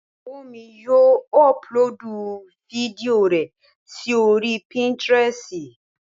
Ìyàwó mi yóò ọpulóòdù fídíò rẹ sí oríi pínítiresì